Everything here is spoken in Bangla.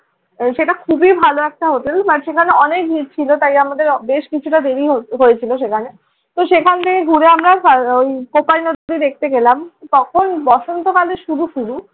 সেটা খুবই ভালো একটা হোটেল। but সেখানে অনেক ভিড় ছিলG তাই আমাদের বেশ কিছুটা দেরি হয়ে~ হয়েছিল সেখানে। তো সেখান থেকে ঘুরে আমরা স্যার ওই কোপাই নদীতে দেখতে গেলাম। তখন বসন্তকালের শুরু শুরু।